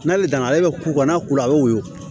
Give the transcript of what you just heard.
N'ale danna ale bɛ ku n'a ku a bɛ woyo